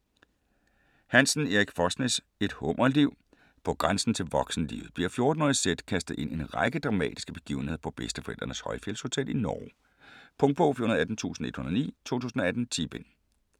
Hansen, Erik Fosnes: Et hummerliv På grænsen til voksenlivet bliver 14-årige Sedd kastet ind i en række dramatiske begivenheder på bedsteforældrenes højfjeldshotel i Norge. Punktbog 418109 2018. 10 bind.